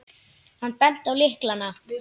Hann benti á lykla.